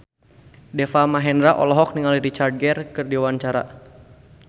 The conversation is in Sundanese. Deva Mahendra olohok ningali Richard Gere keur diwawancara